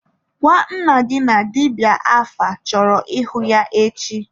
Gwa nna gị na dibịa afa chọrọ ịhụ ya echi!